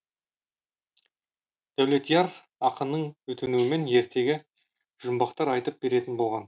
дәулетияр ақынның өтінуімен ертегі жұмбақтар айтып беретін болған